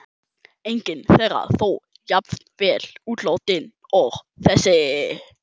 Engin þeirra þó jafn vel útilátin og þessi.